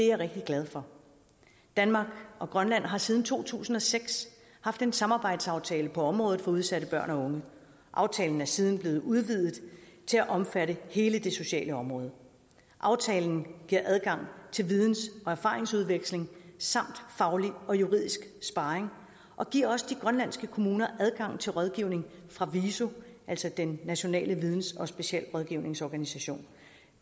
jeg rigtig glad for danmark og grønland har siden to tusind og seks haft en samarbejdsaftale på området for udsatte børn og unge aftalen er siden blevet udvidet til at omfatte hele det sociale område aftalen giver adgang til videns og erfaringsudveksling samt faglig og juridisk sparring og giver også de grønlandske kommuner adgang til rådgivning fra viso altså den nationale videns og specialrådgivningsorganisation